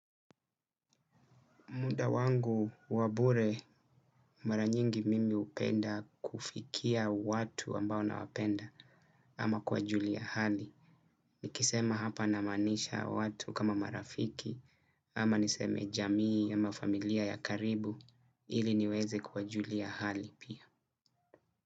Muda wangu wa bure mara nyingi mimi hupenda kufikia watu ambao nawapenda ama kuwajulia hali. Nikisema hapa namaanisha watu kama marafiki ama niseme jamii ama familia ya karibu ili niweze kuwajulia hali pia.